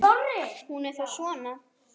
Hún er þá svona!